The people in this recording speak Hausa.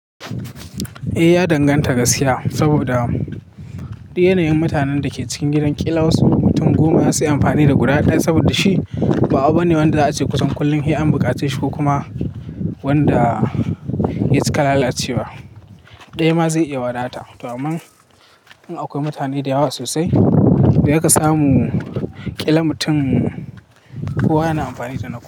Eh, ya danganta gaskiya saboda yanayin mutanen da ke cikin gidan ƙila wasu mutum goma za su yi amfani da guda ɗaya saboda shi ba abu ne wanda za a je kusan kullum hi'ar buƙaci shi ko kuma wanda ya cika lalacewa. Ɗaya ma zai iya wadata. To aman in akwai mutane da yawa sosai to zaka samu ƙila mutum kowa yana amfani da na kowa.